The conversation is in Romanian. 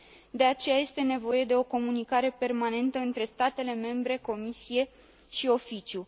De aceea, este nevoie de o comunicare permanentă între statele membre, Comisie și Oficiu.